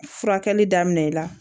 Furakɛli daminɛ i la